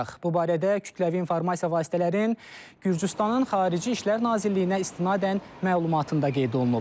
Bu barədə Kütləvi İnformasiya Vasitələrinin Gürcüstanın Xarici İşlər Nazirliyinə istinadən məlumatında qeyd olunub.